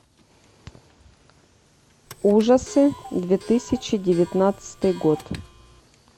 ужасы две тысячи девятнадцатый год